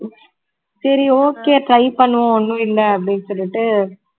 சரி okay try பண்ணுவோம் ஒண்ணு இல்ல அப்படின்னு சொல்லிட்டு